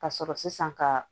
Ka sɔrɔ sisan ka